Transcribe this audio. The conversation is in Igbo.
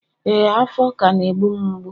ee, afo ka na e mgbu'm mgbu.